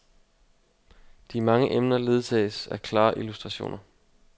De mange emner ledsages af klare illustrationer.